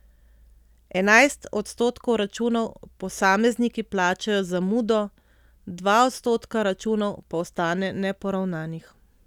Enajst odstotkov računov posamezniki plačajo z zamudo, dva odstotka računov pa ostane neporavnanih.